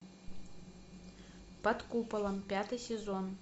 под куполом пятый сезон